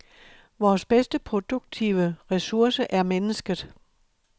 Vores bedste produktive ressource er mennesket.